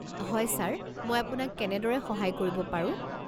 হয় ছাৰ, মই আপোনাক কেনেদৰে সহায় কৰিব পাৰো?